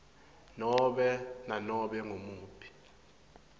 nobe nanobe ngumuphi